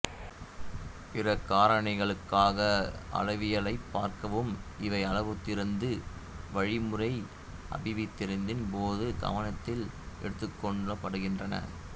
பிற காரணிகளுக்கான அளவியலைப் பார்க்கவும் இவை அளவுத்திருத்த வழிமுறை அபிவிருத்தியின் போது கவனத்தில் எடுத்துக்கொள்ளப்படுகின்றன